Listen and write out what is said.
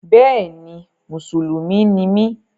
Bẹ́ẹ̀ni, mùsùlùmí ni mí